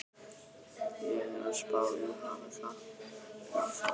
Ég er að spá í að hafa það þannig áfram.